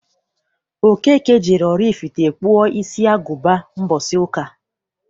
Okeke jere Oraifite kpụọ isi agụba mbọsi ụka.